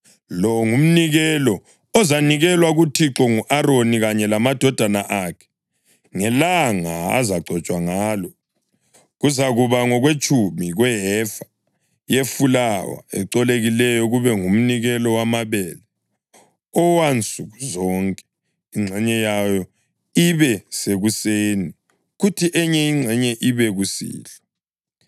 “Lo ngumnikelo ozanikelwa kuThixo ngu-Aroni kanye lamadodana akhe ngelanga azagcotshwa ngalo. Kuzakuba ngokwetshumi kwehefa yefulawa ecolekileyo, kube ngumnikelo wamabele owansuku zonke, ingxenye yawo ibe sekuseni kuthi enye ingxenye ibe kusihlwa.